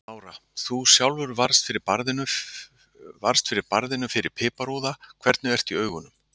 Lára: Þú sjálfur varðst fyrir barðinu fyrir piparúða, hvernig ertu í augunum?